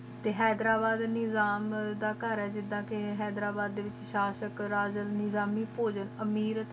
T Hyderabad Nizam ਦਾ ਕਰ ਆ ਗਿਦਾ ਕ ਹੈਦਰਾਬਾਦ ਦੇ ਵਿਚ ਸ਼ਾਹ੍ਸ਼ਕ ਰਾਗਾਂ ਨਿਗ੍ਰਾਮੀ ਪੋਗਾਂ ਅਮੀਰ ਮਸਲੀ ਦਰ ਤ